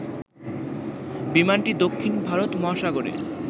বিমানটি দক্ষিণ ভারত মহাসাগরে